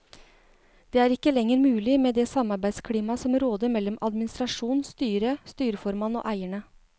Det er ikke lenger mulig med det samarbeidsklimaet som råder mellom administrasjon, styret, styreformann og eierne.